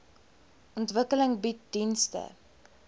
ontwikkeling bied dienste